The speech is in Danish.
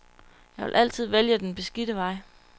Jeg vil altid vælge den beskidte vej.